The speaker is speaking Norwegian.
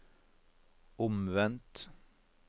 omvendt